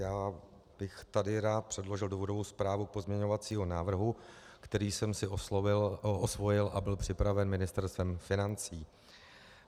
Já bych tady rád předložil důvodovou zprávu pozměňovacího návrhu, který jsem si osvojil a byl připraven Ministerstvem financí.